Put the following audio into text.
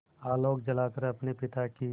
आलोक जलाकर अपने पिता की